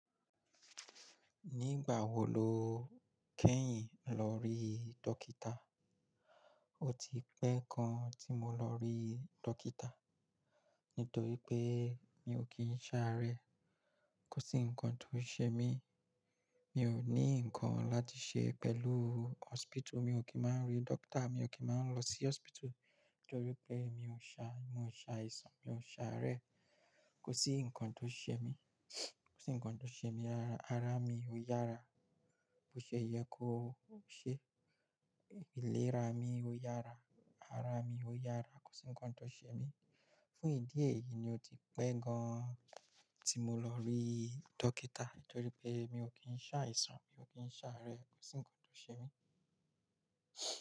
Nígbà wo lo kẹ́yìn lọ rí dókítà? O ti pẹ́ gan tí mo lọ rí dókítà nítorí pé mi ò kì í ṣáá rẹ, kò sí nǹkan tó ń ṣe mí. Mi ò ní nǹkan láti ṣe pẹ̀lú hospital, mi ò kì í máa ń rí dókítà, mi ò kì í máa ń lọ sí hospital nítorí pé mi ò ń ṣa, mi ò ń ṣa ìsan, mi ò ń ṣa rẹ. Kò sí nǹkan tó ń ṣe mí, kò sí nǹkan tó ń ṣe mí ara, ara mi ó yára bó ṣe yẹ kó ṣe, ìlera mi ó yára, ara mi ó yára, kò sí nǹkan tó ń ṣe mí. Fún ìdí èyí ni ó ti pẹ́ gan tí mo lọ rí dókítà nítorí pé mi ò kì n ṣa àìsàn, mi ò kì n ṣáá rẹ, kò sí nǹkan tó ń ṣe mí.